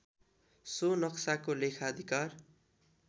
so नक्साको लेखाधिकार